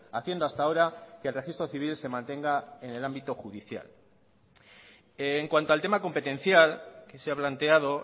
haciendo hasta ahora que el registro civil se mantenga en el ámbito judicial en cuanto al tema competencial que se ha planteado